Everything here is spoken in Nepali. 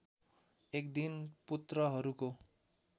एक दिन पुत्रहरूको